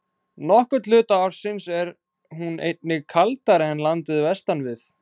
Nokkurn hluta ársins er hún einnig kaldari en landið vestan við.